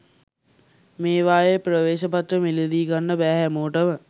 මේවායේ ප්‍රවේශපත්‍ර මිලදී ගන්න බැහැ හැමෝටම